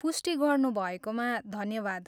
पुष्टि गर्नुभएकोमा धन्यवाद।